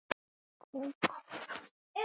Næstur er Vetur.